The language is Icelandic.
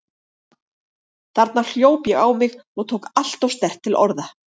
Þarna hljóp ég á mig og tók alltof sterkt til orða.